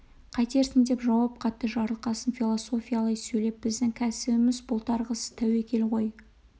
қайтерсің деп жауап қатты жарылқасын философиялай сөйлеп біздің кәсібіміз бұлтарғысыз тәуекел ғой